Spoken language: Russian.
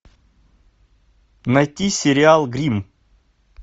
найти сериал гримм